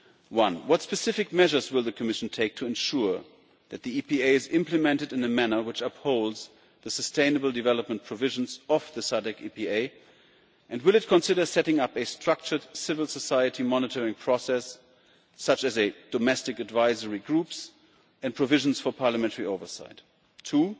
1. What specific measures will the Commission take to ensure that the EPA is implemented in a manner which upholds the sustainable development provisions of the SADC EPA, and will it consider setting up a structured civil society monitoring process, such as a Domestic Advisory Group and provisions for parliamentary oversight? 2.